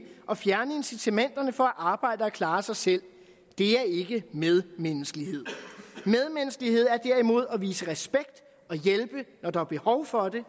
og fjerne incitamenterne for at arbejde og klare sig selv er ikke medmenneskelighed medmenneskelighed er derimod at vise respekt og hjælpe når der er behov for det